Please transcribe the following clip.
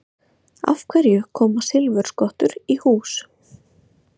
Af hverju koma silfurskottur í hús?